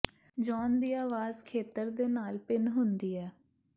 John ਦੀ ਆਵਾਜ਼ ਖੇਤਰ ਦੇ ਨਾਲ ਭਿੰਨ ਹੁੰਦੀ ਹੈ